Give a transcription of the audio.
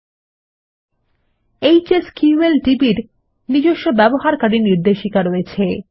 ল্টপাউসেগ্ট HSQLDB এর নিজস্ব ব্যবহারকারী নির্দেশিকা রয়েছে